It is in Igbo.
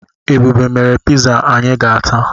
Ebube mere piza anyi ga-ata